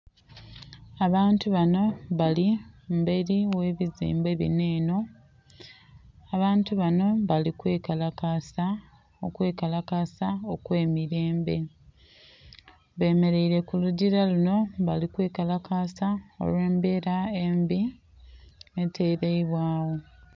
Abantu banho bali emberi ghe bizimbe binho enho, abantu banho bali kwe kalakasa okwe kalakasa okweilembe. Bemereire ku lugila lunho bali kwe kalakasa olwe'mbela embi eteleibwagho.